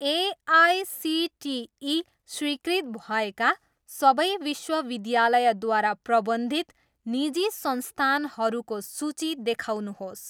AICTE स्वीकृत भएका सबै विश्वविद्यालयद्वारा प्रबन्धित निजी संस्थानहरूको सूची देखाउनुहोस्।